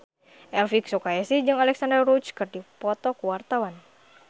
Elvi Sukaesih jeung Alexandra Roach keur dipoto ku wartawan